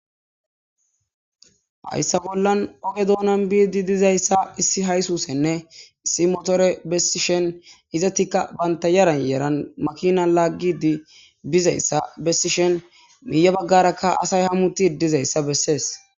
Hayssa bollan oge doonan biidi dizayssa issi haysusenne issi motore bessishen hizatikka banta yaran yeeran makina laaggidi bizayssa bessishen miiya baggarakka asay hamuti dizayssa bessees.